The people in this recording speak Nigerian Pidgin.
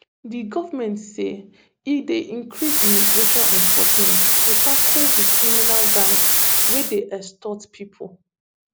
di goment say e dey increase immigration enforcement to tackle di criminal gangs wey dey extort pipo